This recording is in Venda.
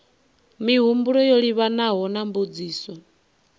mihumbulo yo livhanaho na mbudziso